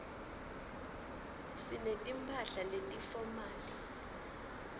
sinetimphahla letifomali